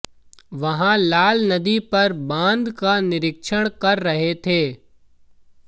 वहां लाल नदी पर बांध का निरीक्षण कर रहे थे